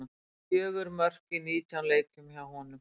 Fjögur mörk í nítján leikjum hjá honum.